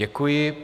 Děkuji.